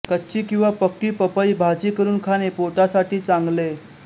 कच्ची किंवा पक्की पपई भाजी करून खाणे पोटासाठी चांगले